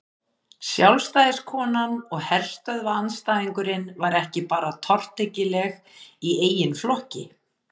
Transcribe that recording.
Sjálfstæðiskonan og herstöðvaandstæðingurinn var ekki bara tortryggileg í eigin flokki.